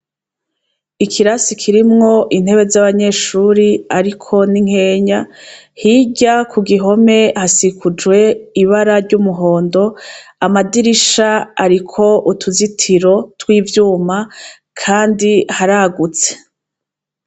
Ikirasi kirimwo intebe z'abanyeshure ariko ni nkenya , hirya kugihome hakikujwe ibara ry'umuhondo amadirisha ariko utuzitiro tw'ivyuma kandi haragutse.